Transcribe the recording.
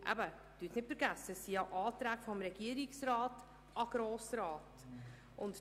Vergessen Sie nicht, dass es sich um Anträge des Regierungsrats an den Grossen Rat handelt.